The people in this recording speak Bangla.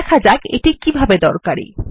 দেখা যাক এটি কিভাবে দরকারী